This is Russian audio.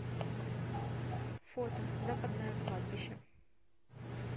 фото западное кладбище